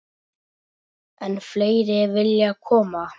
Enn fleiri vilja koma.